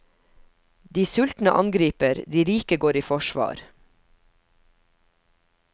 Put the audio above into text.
De sultne angriper, de rike går i forsvar.